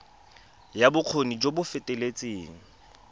ya bokgoni jo bo feteletseng